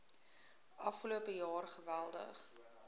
afgelope jaar geweldig